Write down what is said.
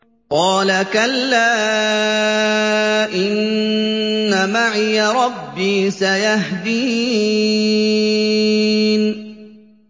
قَالَ كَلَّا ۖ إِنَّ مَعِيَ رَبِّي سَيَهْدِينِ